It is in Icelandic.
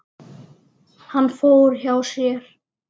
Hann fór hjá sér.